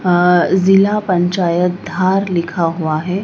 आ जिला पंचायत धार लिखा हुआ है।